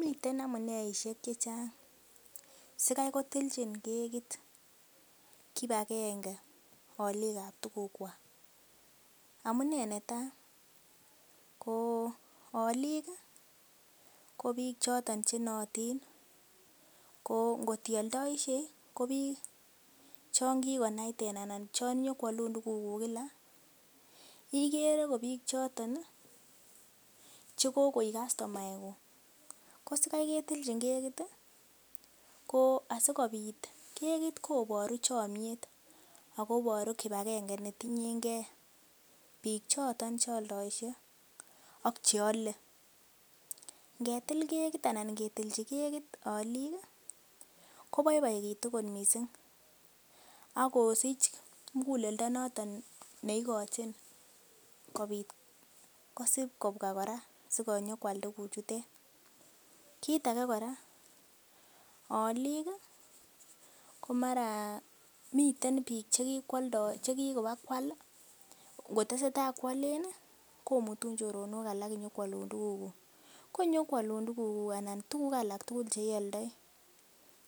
Miten amuneishek che chang sikai kotilchin kekit kipagenge olik ab tugukwak. Amune netai: ko olik ko biiik choton che nootin ko ngot ioldoishei ko biik chon kigonaiten anan ko biik chon nyo koalun tuguk kila igere ko biik choton che kogoik kastomaeguk. Ko sikai ketilchin kekit ko asikobit, kekit koboru chomyet ago iboru kipagenge ne ting'en ge biik choton che oldoishe ak che ole. Ngetil kekit anan ngetilchi kekit olik koboiboegitu kot misng ak kosich muguleldo noton ne igochin koit kosib kobwa kora konyikoal tuguchutet. Kit ag ekora, olik ko mara miten biik che ki kobakoal ngotesetai koalen komutun choronok alak konyokoalun tuguk. Ko ngonyokoalun tugukuk anan tuguk alak tugul che ioldoi,